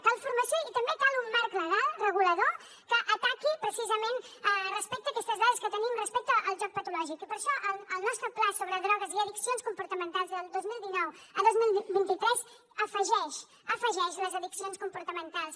cal formació i també cal un marc legal regulador que ataqui precisament respecte a aquestes dades que tenim respecte al joc patològic i per això el nostre pla sobre drogues i addiccions comportamentals del dos mil dinou al dos mil vint tres afegeix les addiccions comportamentals